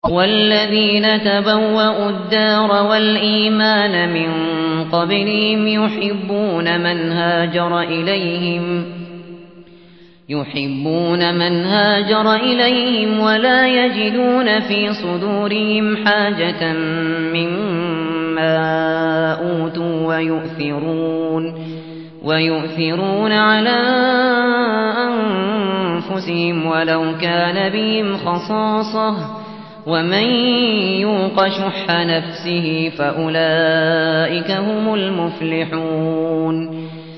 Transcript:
وَالَّذِينَ تَبَوَّءُوا الدَّارَ وَالْإِيمَانَ مِن قَبْلِهِمْ يُحِبُّونَ مَنْ هَاجَرَ إِلَيْهِمْ وَلَا يَجِدُونَ فِي صُدُورِهِمْ حَاجَةً مِّمَّا أُوتُوا وَيُؤْثِرُونَ عَلَىٰ أَنفُسِهِمْ وَلَوْ كَانَ بِهِمْ خَصَاصَةٌ ۚ وَمَن يُوقَ شُحَّ نَفْسِهِ فَأُولَٰئِكَ هُمُ الْمُفْلِحُونَ